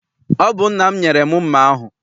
Ọ bụ nna m nyere m mma ahụ.